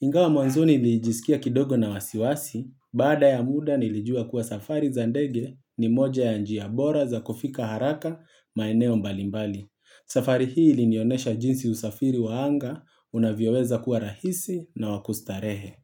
Ingawa mwanzoni nilijisikia kidogo na wasiwasi, baada ya muda nilijua kuwa safari za ndege ni moja ya njia bora za kufika haraka maeneo mbalimbali. Safari hii ilinionesha jinsi usafiri wa anga unavyoweza kuwa rahisi na wa kustarehe.